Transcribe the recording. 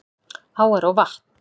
Áar og vatn